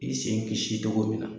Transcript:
I sen kisi togo min na.